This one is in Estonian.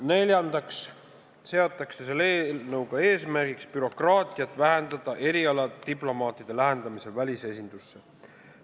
Neljandaks seatakse eesmärgiks vähendada bürokraatiat erialadiplomaatide lähetamisel välisesindusse.